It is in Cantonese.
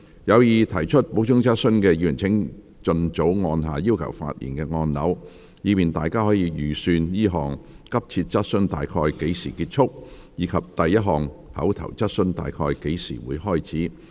有意提出補充質詢的議員請盡早按下"要求發言"按鈕，以便大家可預算這項急切質詢大約何時結束，以及第一項口頭質詢大約何時開始。